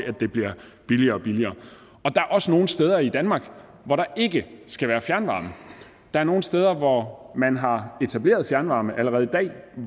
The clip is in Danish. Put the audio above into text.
at det bliver billigere og billigere der er også nogle steder i danmark hvor der ikke skal være fjernvarme der er nogle steder hvor man har etableret fjernvarme allerede i dag